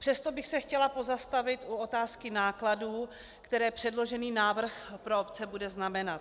Přesto bych se chtěla pozastavit u otázky nákladů, které předložený návrh pro obce bude znamenat.